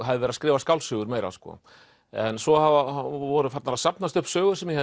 hafði verið að skrifa skáldsögur meira en svo voru farnar að safnast upp sögur sem ég